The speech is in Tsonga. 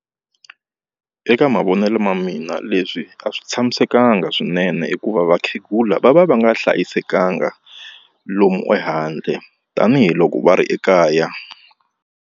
Eka mavonelo ma mina leswi a swi tshamisekanga swinene hikuva vakhegula va va va nga hlayisekanga lomu ehandle tanihiloko va ri ekaya.